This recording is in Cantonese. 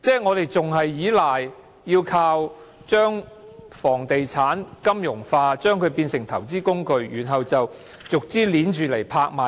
我們仍然倚賴把房地產金融化，把它變為投資工具，然後逐項拍賣。